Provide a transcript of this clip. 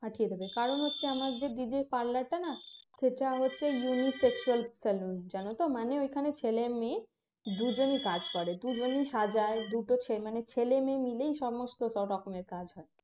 পাঠিয়ে দেবে কারণ হচ্ছে আমাদের দিদির parlour টা না এটা হচ্ছে unisex salon এটার মানে এখানে ছেলে মেয়ে দুজনই কাজ করে দুজনই সাজায় দুটো ছে মানে ছেলে মেয়ে মিলে সমস্থ রকমের কাজ হয়